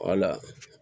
Wala